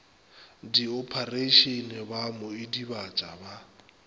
diophareišene ba mo idibatša ba